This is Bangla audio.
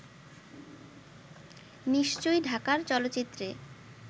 নিশ্চয়ই ঢাকার চলচ্চিত্রে